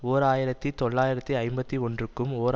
ஓர் ஆயிரத்தி தொள்ளாயிரத்து ஐம்பத்தி ஒன்றுக்கும் ஓர்